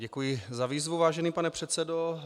Děkuji za výzvu, vážený pane předsedo.